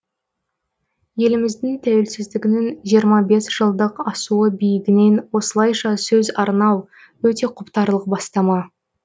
еліміздің тәуелсіздігінің жиырма бес жылдық асуы биігінен осылайша сөз арнау өте құптарлық бастама